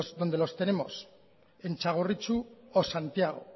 donde los tenemos en txagorritxu o santiago